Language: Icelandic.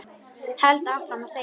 Held áfram að þegja.